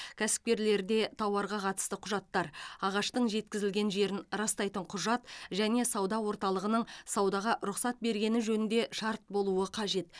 кәсіпкерлерде тауарға қатысты құжаттар ағаштың жеткізілген жерін растайтын құжат және сауда орталығының саудаға рұқсат бергені жөнінде шарт болуы қажет